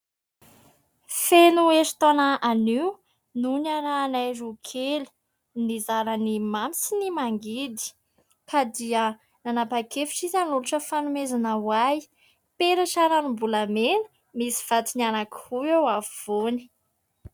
Feno eritaona anio no niarahanay roa kely, nizara ny mamy sy ny mangidy, ka dia nanapa-kevitra izy anolotra fanomezana ho ahy, peratra ranom-bolamena misy vatony anaky roa eo afovoany.